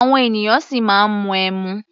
Àwọn ènìyàn ṣì máa ń mu ẹmu.